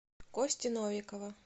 кости новикова